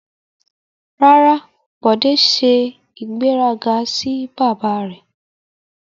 Rara, Bode se igberaga si baba re